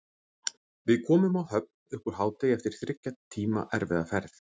Við komum á Höfn upp úr hádegi eftir þriggja tíma erfiða ferð.